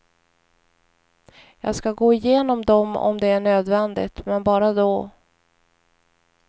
Jag ska gå igenom dem om det är nödvändigt, men bara då.